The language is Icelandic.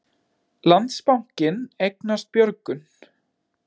Landsbankinn eignast Björgun